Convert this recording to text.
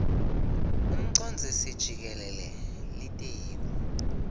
umcondzisi jikelele litiko